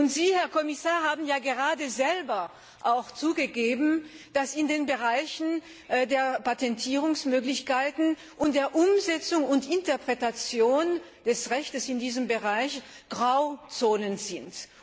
Und Sie, Herr Kommissar, haben gerade selber auch zugegeben, dass in den Bereichen der Patentierungsmöglichkeiten und der Umsetzung und Interpretation des Rechtes in diesem Bereich Grauzonen bestehen.